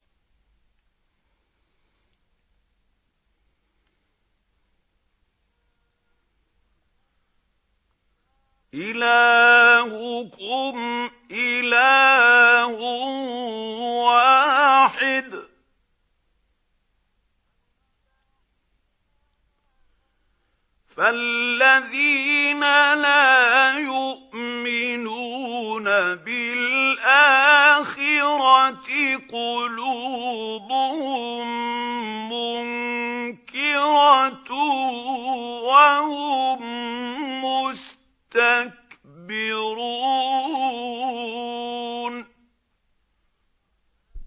إِلَٰهُكُمْ إِلَٰهٌ وَاحِدٌ ۚ فَالَّذِينَ لَا يُؤْمِنُونَ بِالْآخِرَةِ قُلُوبُهُم مُّنكِرَةٌ وَهُم مُّسْتَكْبِرُونَ